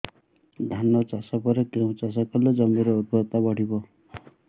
ଧାନ ଚାଷ ପରେ କେଉଁ ଚାଷ କଲେ ଜମିର ଉର୍ବରତା ବଢିବ